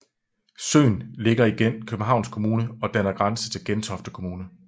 Søen ligger i Københavns Kommune og danner grænse til Gentofte Kommune